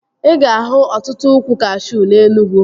Ị ga-ahụ ọtụtụ ụkwụ kashuu na Enugwu